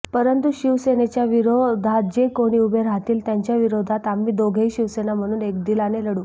परंतू शिवसेनेच्या विरोधात जे कोणी उभे राहतील त्यांच्या विरोधात आम्ही दोघेही शिवसेना म्हणून एकदिलाने लढू